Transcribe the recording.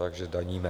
Takže daníme.